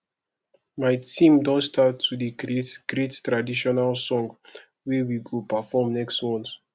my team don start to dey create great traditional song wey we go perform next month